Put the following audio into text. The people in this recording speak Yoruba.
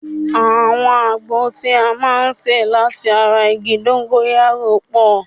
Àwọn àgbo tí a máa ń ṣe láti ara igi dóńgóyárò pọ̀